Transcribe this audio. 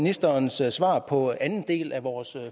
ministerens svar på anden del af vores